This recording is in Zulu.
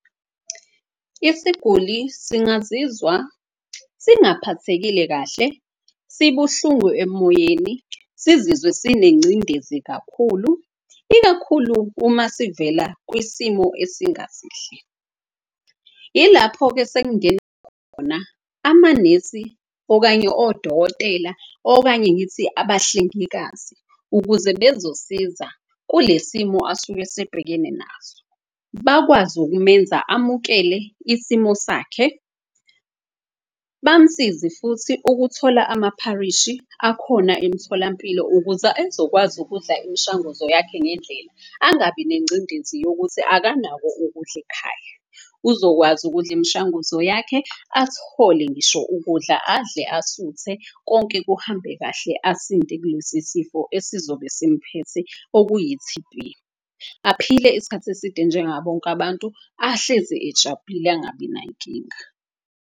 Isiguli singazizwa singaphathekile kahle, sibuhlungu emoyeni. Sizizwe sinengcindezi kakhulu ikakhulu uma sivela kwisimo esingasihle. Ilapho-ke khona amanesi, okanye odokotela, okanye ngithi abahlengikazi. Ukuze bezosiza kule simo asuke esebhekene naso, bakwazi ukumenza amukele isimo sakhe. Bamsize futhi ukuthola amapharishi akhona emtholampilo ukuze ezokwazi ukudla imishanguzo yakhe ngendlela. Angabi nengcindezi yokuthi akanako ukudla ekhaya, uzokwazi ukudla imishanguzo yakhe. Athole ngisho ukudla, adle asuthe konke kuhambe kahle asinde kulesi sifo, esizobe simphethe okuyi-T_B. Aphile isikhathi eside njengabonke abantu, ahlezi ejabulile angabi nayinkinga.